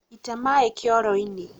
ita maĩ kĩoro-inĩ